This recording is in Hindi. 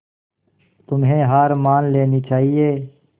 तुम्हें हार मान लेनी चाहियें